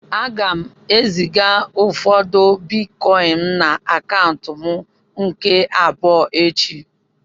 A ga m eziga ụfọdụ bịtkọin na akaụntu m nke abụọ echi